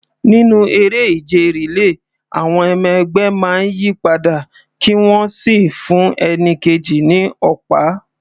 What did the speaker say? Nínú eré ìje relay, àwọn ọmọ ẹgbẹ́ máa ń yí padà kí wọ́n sì fún ẹni kejì ní ọ̀pá.